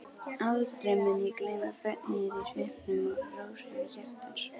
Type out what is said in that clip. Aldrei mun ég gleyma fögnuðinum í svipnum og rósemi hjartans.